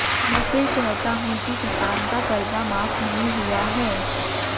मैं फिर कहता हूं कि किसान का कर्जा माफ नहीं हुआ है